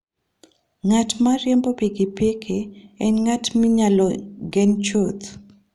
Ng'at ma riembo pikipiki en ng'at minyalo gen chuth.